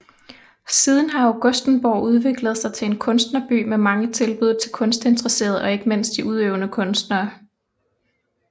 Siden har Augustenborg udviklet sig til en kunstnerby med mange tilbud til kunstinteresserede og ikke mindst de udøvende kunstnere